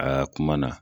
Aa kuma na